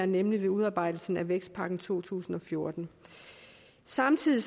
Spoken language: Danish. nemlig ved udarbejdelsen af vækstpakken to tusind og fjorten samtidig